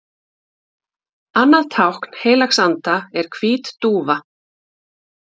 Annað tákn heilags anda er hvít dúfa.